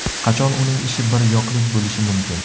Qachon uning ishi bir yoqlik bo‘lishi mumkin?